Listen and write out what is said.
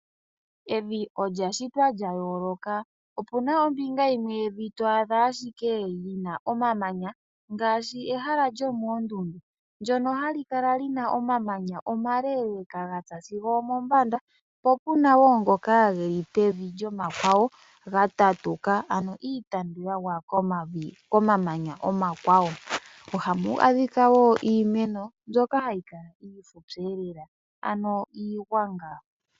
Evi olya shitwa lya yooloka. Opuna ombinga yimwe yevi twaadha ashike omamanya ngaashi ehala lyomondundu ndjono ha li kala lina omamanya omaleleka gatsa sigo omombanda po puna wo ngoka ge li pevi gomakwawo ga tatuka ano iitanduka komavi komamanya omakwawo. Ohamu adhika wo iimeno mbyoka hayi kala iifupyelela ano iigwanga.